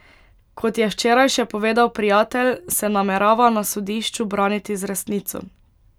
Kot je včeraj še povedal Prijatelj, se namerava na sodišču braniti z resnico.